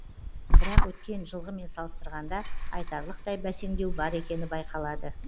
бірақ өткен жылғымен салыстырғанда айтарлықтай бәсеңдеу бар екені байқалады